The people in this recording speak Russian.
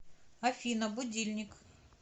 афина будильник